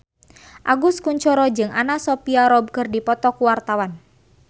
Agus Kuncoro jeung Anna Sophia Robb keur dipoto ku wartawan